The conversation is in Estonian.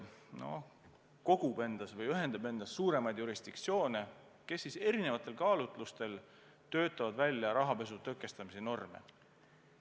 FATF ühendab endas suuremaid jurisdiktsioone, kes erinevatel kaalutlustel töötavad välja rahapesu tõkestamise norme.